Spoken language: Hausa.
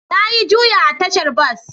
Na yi Juya a tashar bas